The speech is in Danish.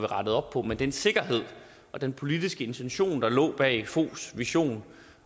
rettet op på men den sikkerhed og den politiske intention der lå bag foghs vision